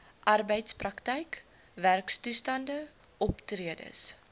arbeidsprakryk werktoestande optredes